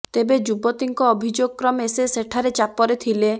ତେବେ ଯୁବତୀଙ୍କ ଅଭିଯୋଗ କ୍ରମେ ସେ ସେଠାରେ ଚାପରେ ଥିଲେ